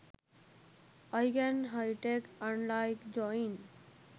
i can hitec unlike join